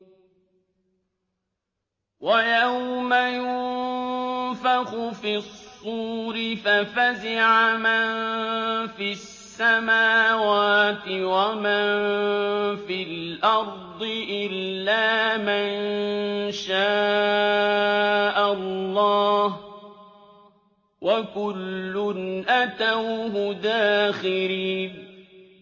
وَيَوْمَ يُنفَخُ فِي الصُّورِ فَفَزِعَ مَن فِي السَّمَاوَاتِ وَمَن فِي الْأَرْضِ إِلَّا مَن شَاءَ اللَّهُ ۚ وَكُلٌّ أَتَوْهُ دَاخِرِينَ